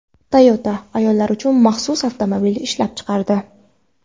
Toyota ayollar uchun maxsus avtomobil ishlab chiqardi.